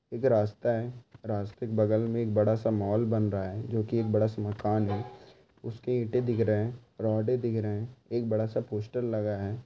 एक रास्ता हैं। रास्ते के बगल मे एक बड़ा सा मोल बन रहा है। जो कि एक बड़ा सा मकान हैं। उसके ईटे दिख रहे हैं। रोडे दिख रहे हैं। एक बड़ा सा पोस्टर लगा हैं।